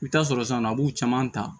I bi taa sɔrɔ sisan a b'u caman ta